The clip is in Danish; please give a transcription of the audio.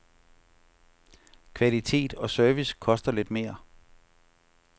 Kvalitet og service koster lidt mere.